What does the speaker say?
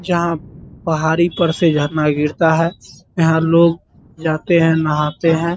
जहाँ पहाड़ी पर से झरना गिरता है यहाँ लोग जाते हैं नहाते हैं |